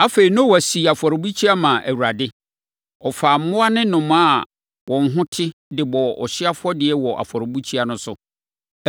Afei, Noa sii afɔrebukyia maa Awurade. Ɔfaa mmoa ne nnomaa a wɔn ho te, de bɔɔ ɔhyeɛ afɔdeɛ wɔ afɔrebukyia no so.